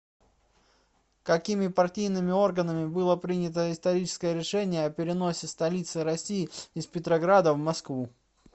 какими партийными органами было принято историческое решение о переносе столицы россии из петрограда в москву